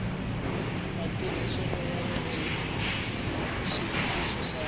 matirhiselo ya ririmi xivutiso xa